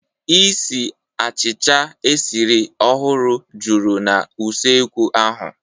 Isiì achịcha e siri ọhụrụ juru na usekwu ahu.